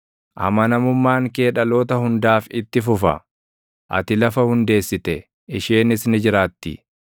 Amanamummaan kee dhaloota hundaaf itti fufa; ati lafa hundeessite; isheenis ni jiraatti.